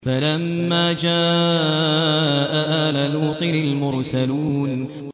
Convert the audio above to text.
فَلَمَّا جَاءَ آلَ لُوطٍ الْمُرْسَلُونَ